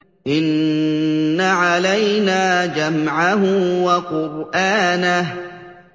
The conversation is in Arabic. إِنَّ عَلَيْنَا جَمْعَهُ وَقُرْآنَهُ